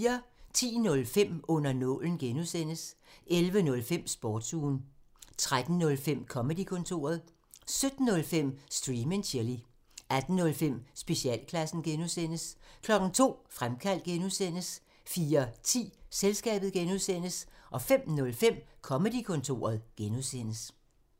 10:05: Under nålen (G) 11:05: Sportsugen 13:05: Comedy-kontoret 17:05: Stream and chill 18:05: Specialklassen (G) 02:00: Fremkaldt (G) 04:10: Selskabet (G) 05:05: Comedy-kontoret (G)